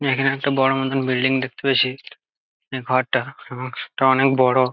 এখানে একটা বড়ো মতন বিল্ডিং দেখতে পেয়েছি | ঘরটা অনেক বড়ো।